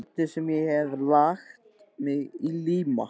Hvernig sem ég hef lagt mig í líma.